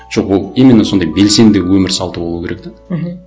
жоқ ол именно сондай белсенді өмір салты болуы керек те мхм